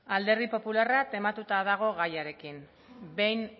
alderdi popularra tematuta dago gairekin behin